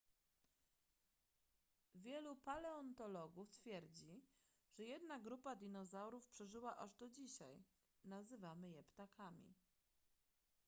wielu paleontologów twierdzi że jedna grupa dinozaurów przeżyła aż do dzisiaj nazywamy je ptakami